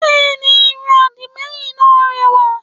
Bẹ́ẹ̀ni irun àdìmẹ́yìn náà rẹwà